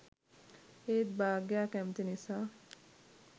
ඒත් භාග්‍යා කැමති නිසා